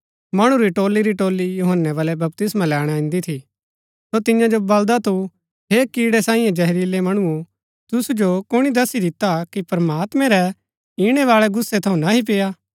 मणु री टोली री टोली यूहन्‍नै बलै बपतिस्मा लैणा ईन्‍दी थी सो तियां जो बलदा थू हे कीड़ै सांई जहरीलै मणुओ तुसु जो कुणी दस्सी दिता कि प्रमात्मैं रै ईणैबाळै गुस्सै थऊँ नह्ही पेय्आ